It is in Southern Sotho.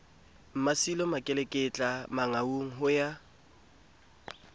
mmasilo makeleketla mangaung ho ya